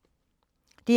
DR2